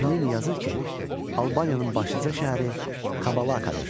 Plini yazır ki, Albaniyanın başlıca şəhəri Kabalakadır.